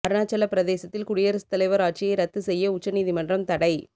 அருணாச்சலப் பிரதேசத்தில் குடியரசுத் தலைவர் ஆட்சியை ரத்து செய்ய உச்ச நீதிமன்றம் தடை